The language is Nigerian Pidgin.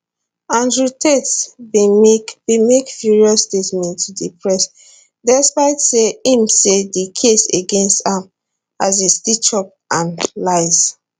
andrew tate bin make bin make furious statement to di press despite say im say di case against am as a stitchup and lies